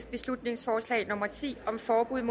beslutningsforslag nummer b ti